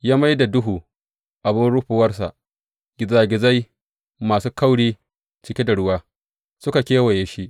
Ya mai da duhu abin rufuwarsa gizagizai masu kauri cike da ruwa suka kewaye shi.